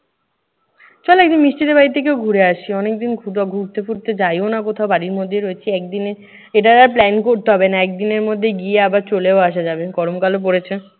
শোন না একদিন মিষ্টিদের বাড়ি থেকেও ঘুরে আসি। অনেকদিন কোথাও ঘুরতে ফুরতে যাইও না কোথাও, বাড়ির মধ্যেই রয়েছি। একদিনে এইটা আর plan করতে হবে না। একদিনের মধ্যে গিয়ে আবার চলেও আসা যাবে। গরম কালও পড়েছে।